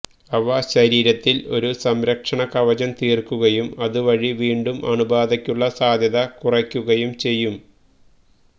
അവ ശരീരത്തില് ഒരു സംരക്ഷണ കവചം തീര്ക്കുകയും അതുവഴി വീണ്ടും അണുബാധയ്ക്കുള്ള സാധ്യത കുറയ്ക്കുകയും ചെയ്യും